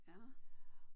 Ja